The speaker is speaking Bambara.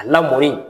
A lamɔnni